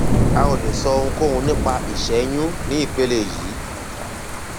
a ò lè sọ ohunkóhun nípa ìṣẹyún ní ìpele yìí